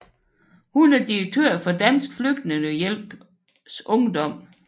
Hun er direktør for Dansk Flygtningehjælp Ungdom